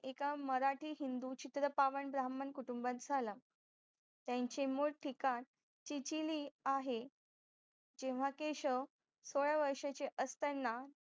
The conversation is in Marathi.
एका मराठी हिंदू चित्रपावांड ब्राह्मण कुटुंबात झाला त्यांचे मूळ ठिकाण चिचिली आहे तेव्हा केशव सोळयावर्षाचे असताना